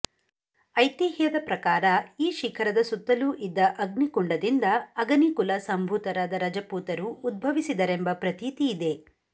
ಐತಿಹ್ಯದ ಪ್ರಕಾರ ಈ ಶಿಖರದ ಸುತ್ತಲೂ ಇದ್ದ ಅಗ್ನಿಕುಂಡದಿಂದ ಅಗನಿಕುಲ ಸಂಭೂತರಾದ ರಜಪೂತರು ಉದ್ಭವಿಸಿದರೆಂಬ ಪ್ರತೀತಿಯಿದೆ